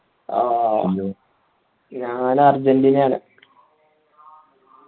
ആ ഞാൻ അര്ജന്റീനയാണ്